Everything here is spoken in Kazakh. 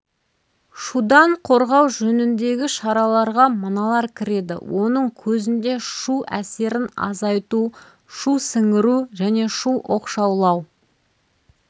шудан қорғау жөніндегі шараларға мыналар кіреді оның көзінде шу әсерін азайту шу сіңіру және шу оқшаулау